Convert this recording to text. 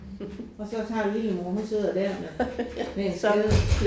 Og så tager lillemor hun sidder der med med en skade